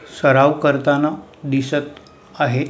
सराव करताना दिसत आहे.